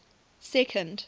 second